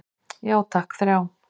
Já takk, þrjá.